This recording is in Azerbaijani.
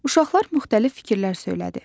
Uşaqlar müxtəlif fikirlər söylədi.